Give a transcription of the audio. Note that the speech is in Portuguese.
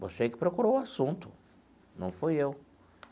Você que procurou o assunto, não fui eu.